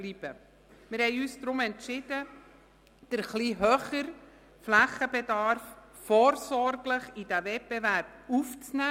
Wir haben uns deshalb entschieden, den etwas höheren Flächenbedarf vorsorglich in den Wettbewerb aufzunehmen.